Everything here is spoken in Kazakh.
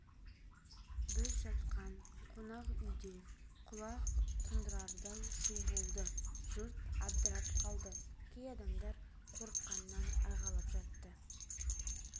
біз жатқан қонақ үйде құлақ тұндырардай шу болды жұрт абдырап қалды кей адамдар қорыққанынан айғайлап жатты